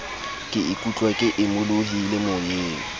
ke ikutlwa ke imolohile moyeng